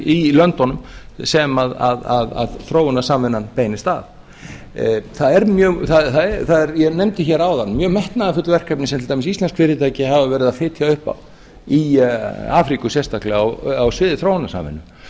í löndunum sem þróunarsamvinnan beinist að ég nefndi hér áðan mjög metnaðarfull verkefni sem til dæmis íslensk fyrirtæki hafa verið að fitja upp á í afríku sérstaklega á sviði þróunarsamvinnu